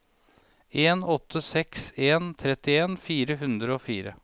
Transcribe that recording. en åtte seks en trettien fire hundre og fire